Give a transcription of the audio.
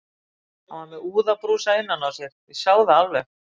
Hann var með úðabrúsa innan á sér, ég sá það alveg.